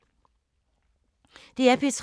DR P3